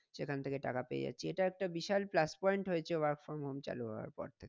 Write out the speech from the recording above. এখান থেকে টাকা পেয়ে যাচ্ছে এটা একটা plus point হয়েছে work from home চালু হওয়ার পর থেকে।